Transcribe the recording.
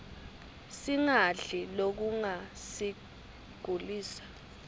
singadli lokungasiglisa